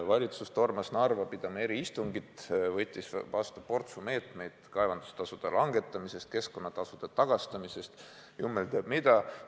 Valitsus tormas Narva eriistungit pidama, võttis vastu portsu meetmeid kaevandustasude vähendamiseks, keskkonnatasude tagastamiseks, jumal teab mida.